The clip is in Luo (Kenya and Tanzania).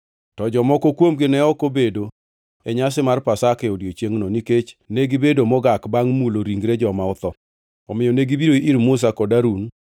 To jomoko kuomgi ne ok obedo e nyasi mar Pasaka e odiechiengʼno nikech negibedo mogak bangʼ mulo ringre joma otho. Omiyo negibiro ir Musa kod Harun mana godiechiengno